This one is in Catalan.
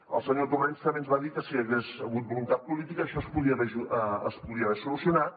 el senyor torrens també ens va dir que si hi hagués hagut voluntat política això es podia haver solucionat